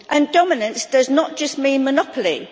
Dominance does not just mean monopoly.